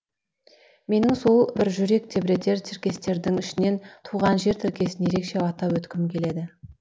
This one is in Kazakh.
менің сол бір жүрек тербетер тіркестердің ішінен туған жер тіркесін ерекше атап өткім келеді